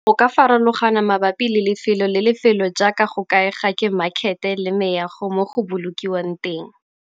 Go ka farologana mabapi le lefelo le lefelo jaaka go kaega ke makhete le meago mo go bolokiwang teng.